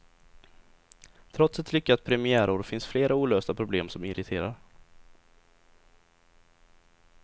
Trots ett lyckat premiärår finns flera olösta problem som irriterar.